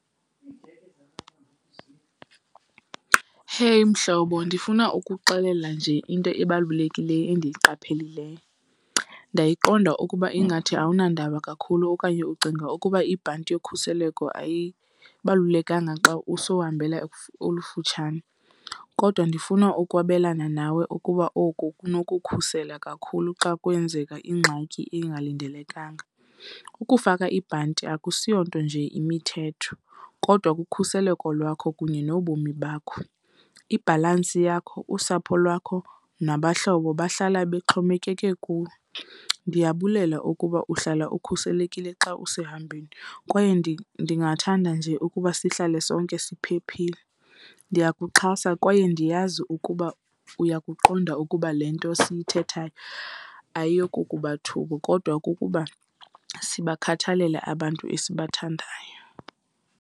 Hey, mhlobo. Ndifuna ukuxelela nje into ebalulekileyo endiyiqaphelileyo. Ndayiqonda ukuba ingathi awunandaba kakhulu okanye ucinga ukuba ibhanti yokhuseleko ayibalulekanga xa usowuhambela olufutshane. Kodwa ndifuna ukwabelana nawe ukuba oku kunokukhuseleka kakhulu xa kwenzeka ingxaki engalindelekanga. Ukufaka ibhanti akusiyonto nje, yimithetho, kodwa kukhuseleko lwakho kunye nobomi bakho. Ibhalansi yakho, usapho lwakho nabahlobo bahlala bexhomekeke kuwe. Ndiyabulela ukuba uhlala ukhuselekile xa usehambeni kwaye ndingathanda nje ukuba sihlale sonke siphephile. Ndiyakuxhasa kwaye ndiyazi ukuba uyakuqonda ukuba le nto siyithethayo ayiyo kukuba thuka kodwa kukuba sibakhathalele abantu esibathandayo.